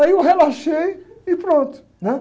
Aí eu relaxei e pronto, né?